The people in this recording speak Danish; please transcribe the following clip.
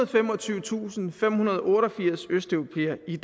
og femogtyvetusindfemhundrede og otteogfirs østeuropæere i